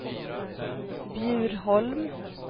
Bjurholm